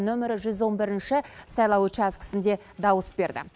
нөмірі жүз он бірінші сайлау учаскісінде дауыс берді